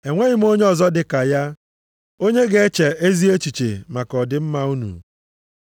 Enweghị m onye ọzọ dị ka ya, onye ga-eche ezi echiche maka ọdịmma unu.